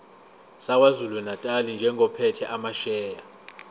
sakwazulunatali njengophethe amasheya